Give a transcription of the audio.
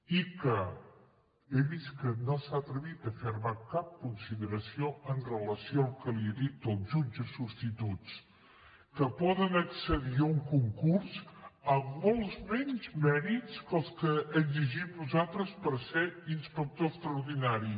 i que he vist que no s’ha atrevit a fer me cap consideració amb relació al que li he dit dels jutges substituts que poden accedir a un concurs amb molts menys mèrits que els que exigim nosaltres per ser inspector extraordinari